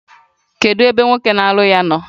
Kedu ebe nwoke na-alụ ya nọ?